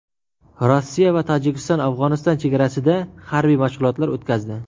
Rossiya va Tojikiston Afg‘oniston chegarasida harbiy mashg‘ulotlar o‘tkazdi.